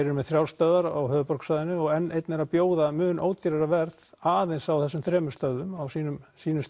eru með þrjár stöðvar á höfuðborgarsvæðinu og n einn er að bjóða mun ódýrara verð aðeins á þessum þremur stöðum á sínu sínu